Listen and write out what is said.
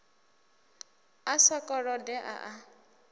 a sa kolode a a